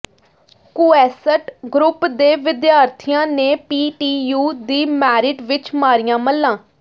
quest group ਦੇ ਵਿਦਿਆਰਥੀਆਂ ਨੇ ਪੀ ਟੀ ਯੂ ਦੀ ਮੈਰਿਟ ਵਿਚ ਮਾਰੀਆਂ ਮੱਲ੍ਹਾਂ